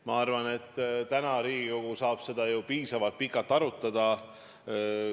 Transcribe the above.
Ma arvan, et täna Riigikogu saab seda ju piisavalt pikalt arutada.